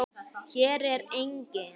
Hér er enginn.